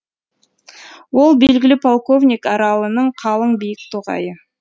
ол белгілі полковник аралының қалың биік тоғайы